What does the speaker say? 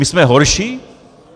My jsme horší?